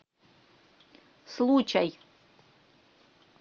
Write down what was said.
случай